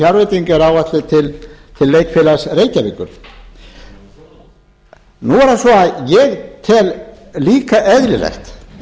er áætluð til leikfélags reykjavíkur nú er það svo að ég tel líka eðlilegt